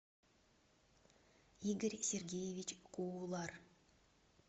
игорь сергеевич куулар